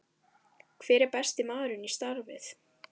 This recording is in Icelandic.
Hver er besti maðurinn í starfið?